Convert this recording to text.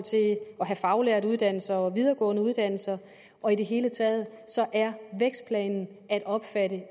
have faglærte uddannelser og videregående uddannelser og i det hele taget er vækstplanen at opfatte